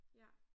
Ja